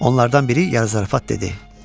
Onlardan biri yarı zarafat dedi.